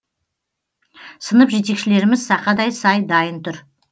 сынып жетекшілеріміз сақадай сай дайын тұр